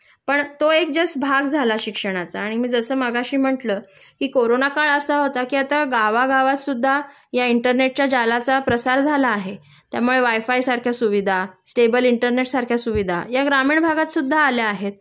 पण तो एक जस्ट भाग झाला शिक्षणाचा आणि मी जसं मघाशी म्हटलं कि कोरोना काळ असा होता कि आता गावगातसुद्धा या इंटरनेटच्या जालाचा प्रसार झाला आहे त्यामुळे वायफाय सारख्या सुविधा, स्टेबल इंटरनेटसारख्या सुविधा या ग्रामीण भागात सुद्धा आल्या आहेत